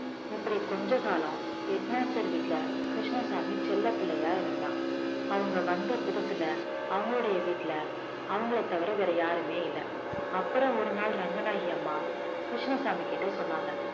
இப்படி கொஞ்ச காலம் head master வீட்ல கிருஷ்ணசாமி செல்லப்பிள்ளையா இருந்தான் அவங்க வந்த புதுசுல அவங்களுடைய வீட்டில அவங்களைத் தவிர வேற யாருமே இல்லை அப்புறம் ஒரு நாள் ரங்கநாயகி அம்மா கிருஷ்ணசாமிகிட்ட சொன்னாங்க